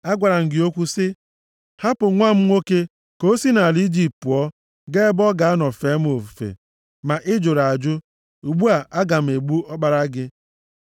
Agwara m gị okwu sị, “Hapụ nwa m nwoke ka o si nʼala Ijipt pụọ gaa ebe ọ ga-anọ fee m ofufe,” ma ị jụrụ ajụ. Ugbu a aga m egbu ọkpara gị.’ ”